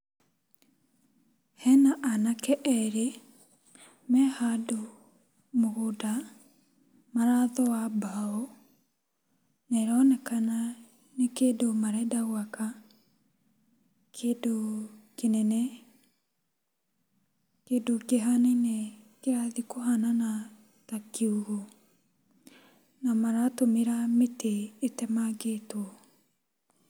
Hena anake erĩ mehandũ mũgũnda, marathoa mbaũ na ĩronekana nĩ kĩndũ marenda gwaka, kĩndũ kĩnene, kĩndũ kĩrathiĩ kũhanana ta kiugũ na maratũmĩra mĩtĩ ĩtemangĩtwo.